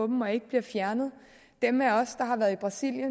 dem og ikke bliver fjernet dem af os der har været i brasilien